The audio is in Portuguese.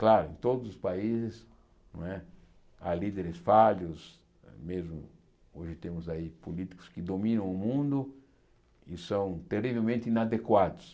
Claro, em todos os países não é há líderes falhos, mesmo hoje temos aí políticos que dominam o mundo e são terrivelmente inadequados.